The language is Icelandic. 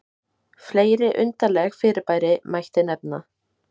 fleiri undarleg fyrirbæri mætti nefna